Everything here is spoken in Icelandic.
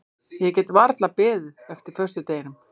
Ég get varla beðið eftir föstudeginum.